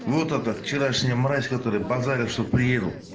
вот это вчерашняя мразь которая базарит что приеду